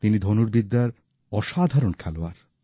তিনি ধনুর্বিদ্যার অসাধারণ খেলোয়াড়